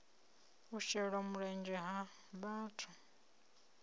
u shela mulenzhe ha vhathu